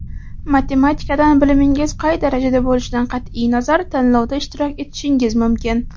Matematikadan bilimingiz qay darajada bo‘lishidan qat’iy nazar tanlovda ishtirok etishingiz mumkin.